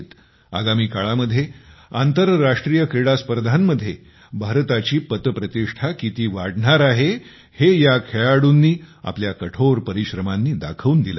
आगामी काळामध्ये आंतरराष्ट्रीय क्रीडा स्पर्धांमध्ये भारताची पत प्रतिष्ठा किती वाढणार आहे हे या खेळाडूंनी आपल्या कठोर परिश्रमांनी दाखवून दिलं आहे